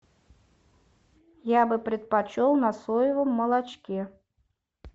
я бы предпочел на соевом молочке